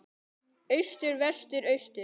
Austur Vestur Austur